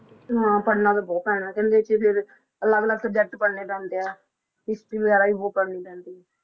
ਹਾਂ ਪੜ੍ਹਨਾ ਤਾਂ ਬਹੁਤ ਪੈਣਾ ਤੇ, ਕਹਿੰਦੇ ਕਿ ਫਿਰ ਅਲੱਗ ਅਲੱਗ subject ਪੜ੍ਹਨੇ ਪੈਂਦੇ ਆ history ਵਗ਼ੈਰਾ ਵੀ ਬਹੁਤ ਪੜ੍ਹਨੀ ਪੈਂਦੀ।